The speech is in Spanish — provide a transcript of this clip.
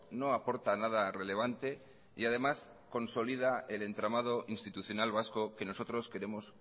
no aporta nada relevante y además consolidad el entramado institucional vasco que nosotros queremos